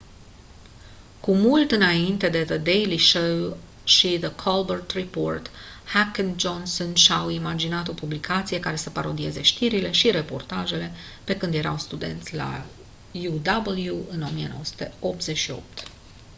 cu mult înainte de the daily show și the colbert report heck și johnson și-au imaginat o publicație care să parodieze știrile și reportajele pe când erau studenți la uw în 1988